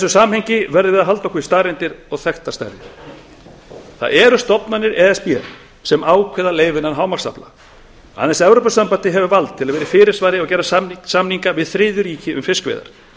samhengi verðum við að halda okkur við staðreyndir og þekktar stærðir það eru stofnanir e s b sem ákveða leyfilegan heildarafla aðeins evrópusambandið hefur vald til að vera í fyrirsvari og gera samninga við þriðju ríki um fiskveiðar